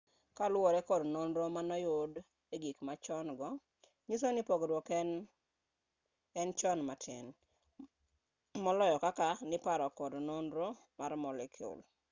kaluwore kod nonro moyud egikmachon-go nyisoni pogruok en chon amtin moloyo kaka niparo kod nonro mar moleciul